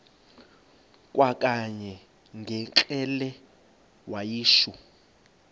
kwakanye ngekrele wayishu